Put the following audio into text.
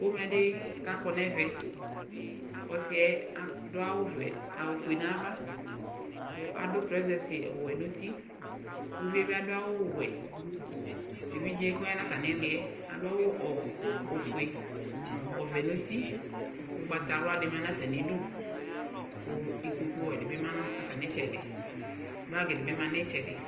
Pomɛdi kakɔ nu ɛvɛ ɔsiɛ adu awu fue nava kuadu trɔsɛs wɛ ŋuti uvie bi adu awu wɛ evidze ku ɔya nu atami liɛ adu awu ofue nu ɔvɛ nu uti ugbatawla ma nu atamidu itsɛdi ku ikpoku wɛ dibi ma nu itsɛdi